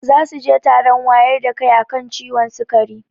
Zasuje taron wayar da kai akan ciwon sikari